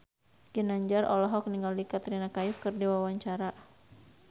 Ginanjar olohok ningali Katrina Kaif keur diwawancara